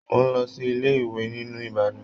Mo n lọ sí ilé ìwé nílu Ìbàdàn.